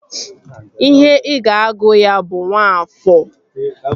Ihe ị ga-agụ ya bụ Nwafọọ!